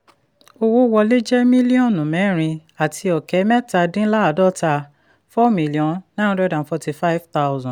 owó wọlé jẹ́ míllíọ̀nù mẹ́rin àti ọ̀kẹ́ mẹ́ta dín láàdọ́ta four million nine hundred and forty-five thousand